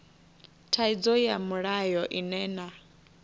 thaidzo ya mulayo ine na